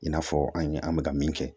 I n'a fɔ an ye an bɛ ka min kɛ